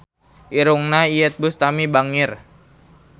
Irungna Iyeth Bustami bangir